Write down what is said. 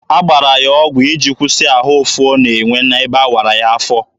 A gbara ya ọgụ iji kwụsị ahụ ụfụ ọ na-enwe n'ebe awara ya afọ.